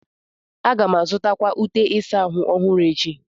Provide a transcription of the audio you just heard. Aga m azụta akwa ute ịsa ahụ ọhụrụ echi.